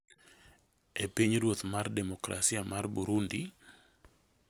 e Pinyruoth mar Demokrasia mar Burundi